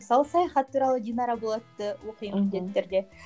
мысалы саяхат туралы динара болатты оқимын міндетті түрде